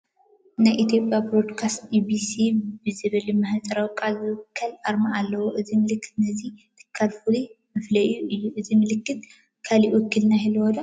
ናይ ኢትዮጵያ ብሮድካስት ኢቢሲ ብዝብል ምህፃረ ቃል ዝውከል ኣርማ ኣለዎ፡፡ እዚ ምልክት ነዚ ትካል ፍሉይ መፈለዪኡ እዩ፡፡ እዚ ምልክት ካልእ ውክልና ይህልዎ ዶ?